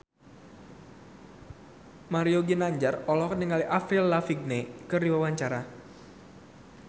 Mario Ginanjar olohok ningali Avril Lavigne keur diwawancara